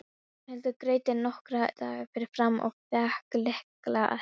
Ragnhildur greiddi nokkra daga fyrirfram og fékk lykla að herberginu.